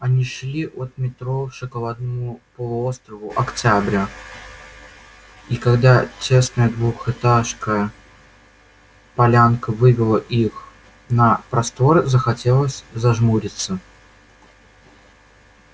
они шли от метро к шоколадному полуострову октября и когда тесная двухэтажка полянка вывела их на простор захотелось зажмуриться